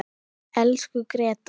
Elsku Gréta.